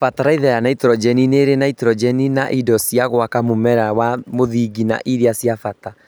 Bataraitha ya naitrojeni Nĩrĩ naitrojeni na indo cia gwaka mũmera wa mũthingi na iria cia bata